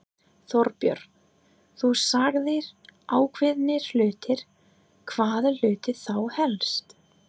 Þorbjörn: Þú sagðir ákveðnir hlutir, hvaða hluti þá helst?